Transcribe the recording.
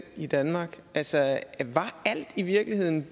i danmark altså var alt i virkeligheden